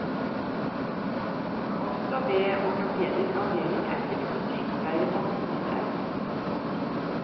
Også ved ortopedisk avdeling er seks sykepleiere tatt ut i streik.